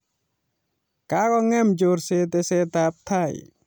Kakongem chorset tesetabtai